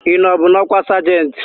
Ị nọbu n'ọkwa sajentị?